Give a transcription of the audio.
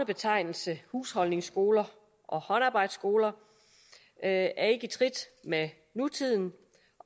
betegnelsen husholdningsskoler og håndarbejdsskoler er ikke i trit med nutiden